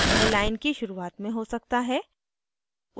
यह line की शुरुआत में हो सकता है